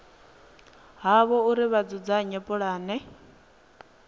havho uri vha dzudzanye pulane